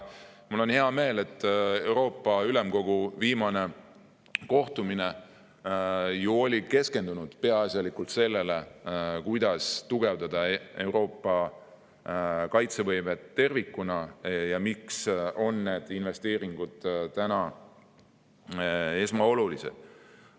Mul on hea meel, et Euroopa Ülemkogu viimane kohtumine keskendus peaasjalikult sellele, kuidas tugevdada Euroopa kaitsevõimet tervikuna ja miks on need investeeringud esmaolulised.